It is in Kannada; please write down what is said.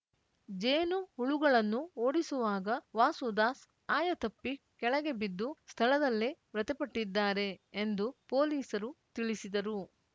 ಜೇನುಹುಳುಗಳನ್ನು ಓಡಿಸುವಾಗ ವಾಸುದಾಸ್‌ ಆಯತಪ್ಪಿ ಕೆಳಗೆ ಬಿದ್ದು ಸ್ಥಳದಲ್ಲೇ ಮೃತಪಟ್ಟಿದ್ದಾರೆ ಎಂದು ಪೊಲೀಸರು ತಿಳಿಸಿದರು